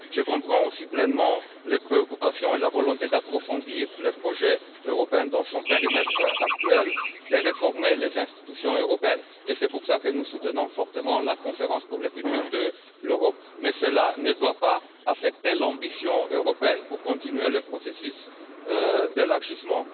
Je comprends aussi pleinement les préoccupations et la volonté d'approfondir le projet européen dans son périmètre actuel, de réformer les institutions européennes, et c'est pour cela que nous soutenons fortement la conférence pour l'avenir de l'Europe, mais cela ne doit pas affecter l'ambition européenne de continuer le processus d'élargissement.